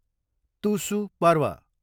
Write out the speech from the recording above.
तुसु पर्व